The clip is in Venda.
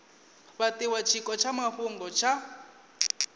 fhatiwa tshiko tsha mafhungo tsha